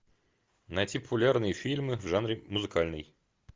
найти популярные фильмы в жанре музыкальный